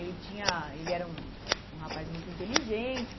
Ele tinha ele era um um rapaz muito inteligente.